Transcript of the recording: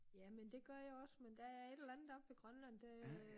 Jamen det gør jeg også men der er et eller andet oppe ved Grønland der øh